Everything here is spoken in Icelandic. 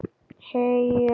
Heyr!